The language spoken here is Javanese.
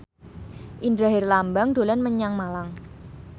Indra Herlambang dolan menyang Malang